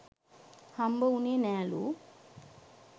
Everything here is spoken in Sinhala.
හම්බ උනේ නෑලූ.